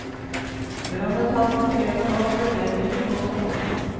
Brannetaten krever nå forbedringer på stasjonen.